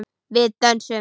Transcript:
Við dönsum.